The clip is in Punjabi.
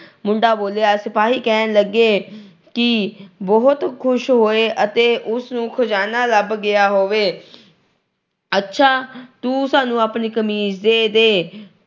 ਮੁੰਡਾ ਬੋਲਿਆ। ਸਿਪਾਹੀ ਕਹਿਣ ਲੱਗੇ ਕਿ ਬਹੁਤ ਖੁਸ਼ ਹੋਏ ਜਿਵੇਂ ਉਨ੍ਹਾਂ ਨੂੰ ਕੋਈ ਖਜਾਨਾ ਲੱਭ ਗਿਆ ਹੋਵੇ। ਅੱਛਾ ਤੂੰ ਸਾਨੂੰ ਆਪਣੀ ਕਮੀਜ ਦੇ ਦੇ।